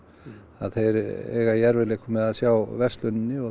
að þeir eiga í erfiðleikum með að sjá verslunum og